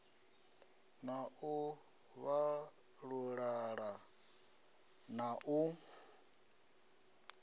na u vhalulula na u